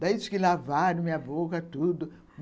Daí, diz que lavaram minha boca, tudo.